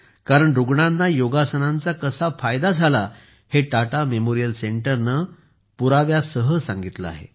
कारण रुग्णांना योगासनांचा कसा फायदा झाला हे टाटा मेमोरियल सेंटरने पुराव्यासह सांगितले आहे